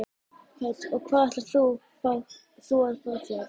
Hödd: Og hvað ætlar þú að fá þér?